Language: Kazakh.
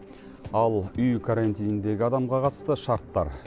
ал үй карантиніндегі адамға қатысты шарттар